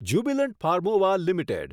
Jubilant Pharmova limited